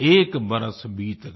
एक बरस बीत गया